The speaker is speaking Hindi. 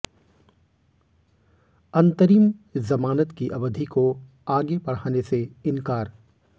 अंतरिम जमानत की अवधि को आगे बढ़ाने से इनकार